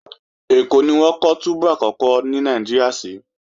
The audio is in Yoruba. Ẹ̀kọ́ ni wọ́n kọ́ túbú àkọ́kọ́ ní Nàìjíríà sí